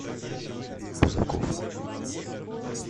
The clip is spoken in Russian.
бузаков